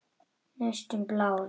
Næstum blár.